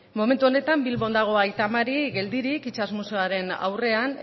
momentu honetan bilbon dago aita mari geldirik itsas museoaren aurrean